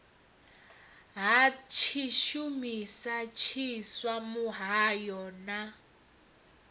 ha tshishumisa tshiswa muhayo na